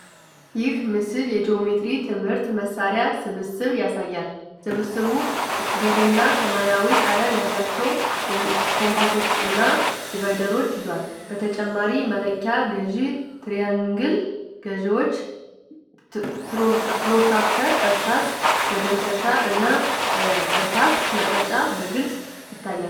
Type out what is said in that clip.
ይህ ምስል የጂኦሜትሪ ትምህርት መሳሪያዎች ስብስብ ያሳያል። ስብስቡ ብርና ሰማያዊ ቀለም ያላቸው ኮምፓሶች እና ዲቫይደሮች ይዟል። በተጨማሪም መለኪያ ገዢ፣ ትሪያንግል ገዢዎች፣ ፕሮትራክተር፣ እርሳስ፣ መደምሰሻ እና እርሳስ መቅረጫ በግልጽ ይታያሉ።